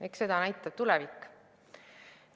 Eks seda näitab tulevik.